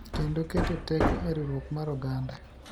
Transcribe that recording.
Kendo keto teko e riwruok mar oganda.